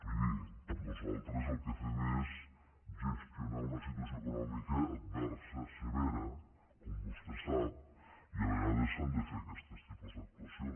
miri nosaltres el que fem és gestionar una situació econòmica adversa severa com vostè sap i a vegades s’han de fer aquest tipus d’actuacions